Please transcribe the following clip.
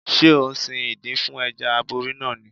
Ṣé ò ń sin ìdin fún Ẹja aborí náà ni?